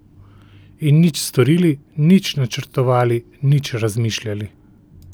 In nič storili, nič načrtovali, nič razmišljali.